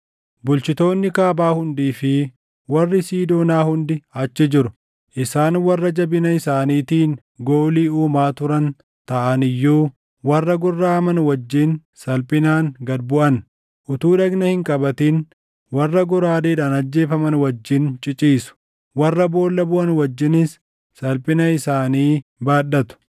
“Bulchitoonni kaabaa hundii fi warri Siidoonaa hundi achi jiru; isaan warra jabina isaaniitiin goolii uumaa turan taʼan iyyuu warra gorraʼaman wajjin salphinaan gad buʼan. Utuu dhagna hin qabatin warra goraadeedhaan ajjeefaman wajjin ciciisu; warra boolla buʼan wajjinis salphina isaanii baadhatu.